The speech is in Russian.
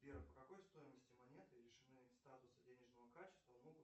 сбер по какой стоимости монеты лишены статуса денежного качества могут